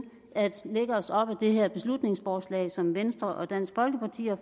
at lægge os op ad det her beslutningsforslag som venstre og dansk folkeparti har